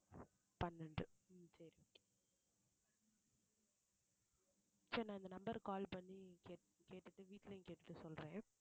பன்னெண்டு சரி நான் இந்த number க்கு call பண்ணி கேட்~ கேட்டுட்டு வீட்லயும் கேட்டுட்டு சொல்றேன்